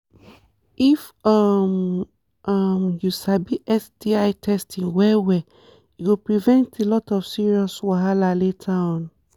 if um um u sabi sti testing well well e go prevent a lot of serious wahala later on